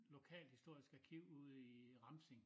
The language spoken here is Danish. Lokalhistorisk arkiv ude i Ramsing